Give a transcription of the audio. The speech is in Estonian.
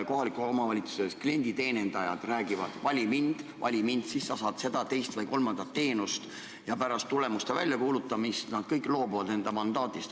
Kohaliku omavalitsuse klienditeenindajad räägivad, et vali mind, vali mind, siis sa saad seda, teist või kolmandat teenust, ja pärast tulemuste väljakuulutamist nad kõik loobuvad mandaadist.